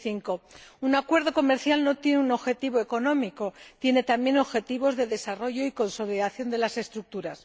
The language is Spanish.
2005. Un acuerdo comercial no solo tiene un objetivo económico. Tiene también objetivos de desarrollo y consolidación de las estructuras.